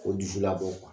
O dusu labɔ